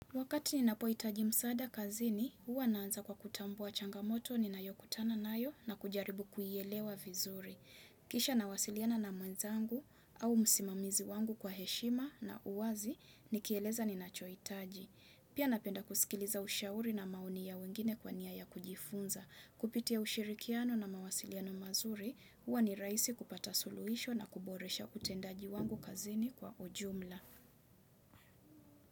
Wakati ninapohitaji msaada kazini, huwa naanza kwa kutambua changamoto ninayokutana nayo na kujaribu kuielewa vizuri. Kisha nawasiliana na mwenzangu au msimamizi wangu kwa heshima na uwazi, nikieleza ninacho hitaji. Pia napenda kusikiliza ushauri na maoni ya wengine kwa nia ya kujifunza. Kupitia ushirikiano na mawasiliano mazuri, huwa ni rahisi kupata suluhisho na kuboresha utendaji wangu kazini kwa ujumla.